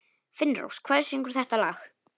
Finnrós, hver syngur þetta lag?